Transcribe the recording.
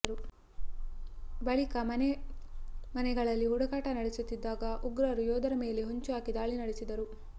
ಬಳಿಕ ಮನೆ ಮನೆಗಳಲ್ಲಿ ಹುಡುಕಾಟ ನಡೆಸುತ್ತಿದ್ದಾಗ ಉಗ್ರರು ಯೋಧರ ಮೇಲೆ ಹೊಂಚು ಹಾಕಿ ದಾಳಿ ನಡೆಸಿದರು